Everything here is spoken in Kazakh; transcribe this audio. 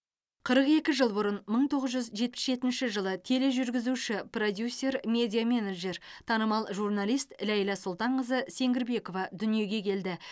қырық екі жыл бұрын мың тоғыз жүз жетпіс жетінші жылы тележүргізуші продюсер медиа менеджер танымал журналист ләйла сұлтанқызы сеңгірбекова дүниеге келді